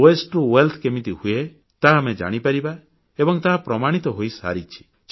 ବର୍ଜ୍ୟ ରୁ ସମ୍ପଦ କେମିତି ହୁଏ ତାହା ଆମେ ଜାଣିପାରିବା ଏବଂ ତାହା ପ୍ରମାଣିତ ହୋଇସାରିଛି